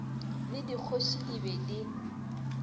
le dikgoši di be di